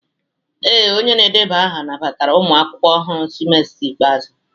Ee, onye na-edeba aha nabatara ụmụ akwụkwọ ọhụrụ semester ikpeazụ